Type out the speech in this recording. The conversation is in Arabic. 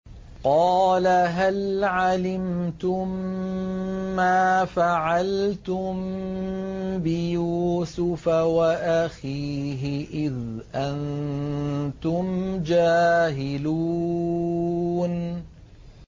قَالَ هَلْ عَلِمْتُم مَّا فَعَلْتُم بِيُوسُفَ وَأَخِيهِ إِذْ أَنتُمْ جَاهِلُونَ